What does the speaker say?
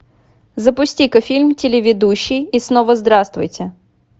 запусти ка фильм телеведущий и снова здравствуйте